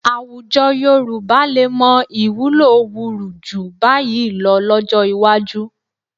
Àwùjọ Yorùbá lè mọ ìwúlò wurù jù bá yìí lọ lọ́jọ́ iwájú